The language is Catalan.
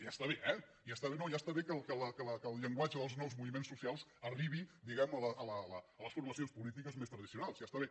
ja està bé eh no ja està bé que el llenguatge dels nous moviments socials arribi diguemne a les formacions polítiques més tradicionals ja està bé